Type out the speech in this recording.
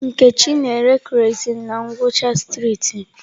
Nkechi na-ere kerọsinụ na ngwụcha streetị m.